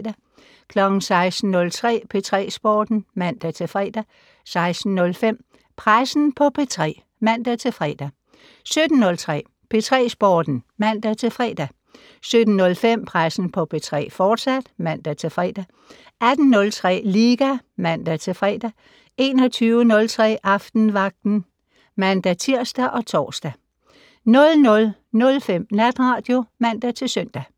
16:03: P3 Sporten (man-fre) 16:05: Pressen på P3 (man-fre) 17:03: P3 Sporten (man-fre) 17:05: Pressen på P3, fortsat (man-fre) 18:03: Liga (man-fre) 21:03: Aftenvagten (man-tir og tor) 00:05: Natradio (man-søn)